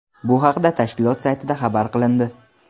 Bu haqda tashkilot saytida xabar qilindi.